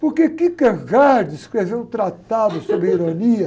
Porque Kierkegaard escreveu um tratado sobre ironia